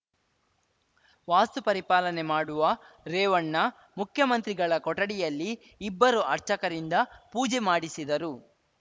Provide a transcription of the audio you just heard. ವಾಸ್ತು ಪರಿಪಾಲನೆ ಮಾಡುವ ರೇವಣ್ಣ ಮುಖ್ಯಮಂತ್ರಿಗಳ ಕೊಠಡಿಯಲ್ಲಿ ಇಬ್ಬರು ಅರ್ಚಕರಿಂದ ಪೂಜೆ ಮಾಡಿಸಿದರು